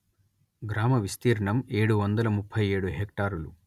గ్రామ విస్తీర్ణం ఏడు వందల ముప్పై ఏడు హెక్టారులు